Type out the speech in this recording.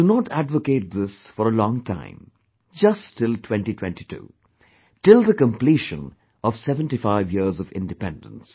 I do not advocate this for a long time, just till 2022, till the completion of 75 years of independence